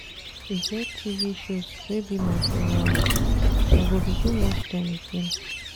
E get TV shows wey be my favourite, I go begin watch dem again.